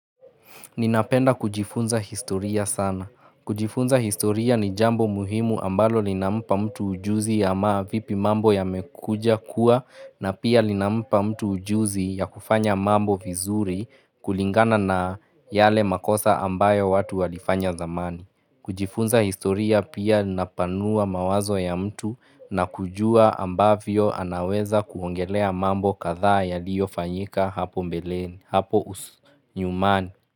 Ninapenda kujifunza historia sana. Kujifunza historia ni jambo muhimu ambalo linampa mtu ujuzi ya maa vipi mambo ya mekuja kuwa na pia lina mpa mtu ujuzi ya kufanya mambo vizuri kulingana na yale makosa ambayo watu walifanya zamani. Kujifunza historia pia napanua mawazo ya mtu na kujua ambavyo anaweza kuongelea mambo kadhaa yaliyo fanyika hapo mbeleni, hapo usu nyumani.